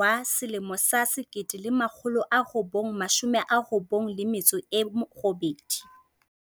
wa 1998.